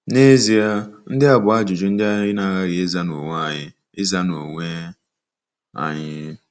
N'ezie, ndị a bụ ajụjụ ndị anyị na-aghaghị ịza n'onwe anyị. ịza n'onwe anyị.